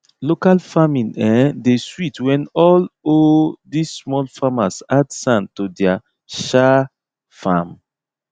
local farming um dey sweet when all um this small farmers add sand to their um farm